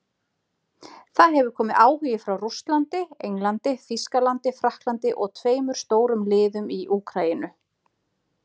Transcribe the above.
Það hefur komið áhugi frá Rússlandi, Englandi, Þýskalandi Frakklandi og tveimur stórum liðum í Úkraínu.